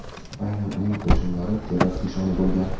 Aynan uning qo‘shinlari terakt nishoni bo‘lgan.